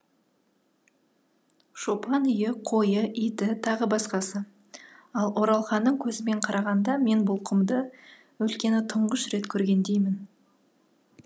шопан үйі қойы иті тағы басқасы ал оралханның көзімен қарағанда мен бұл құмды өлкені тұңғыш рет көргендеймін